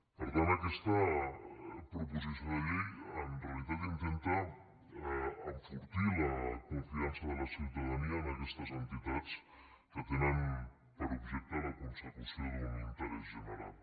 per tant aquesta proposició de llei en realitat intenta enfortir la confiança de la ciutadania en aquestes entitats que tenen per objecte la consecució d’un interès general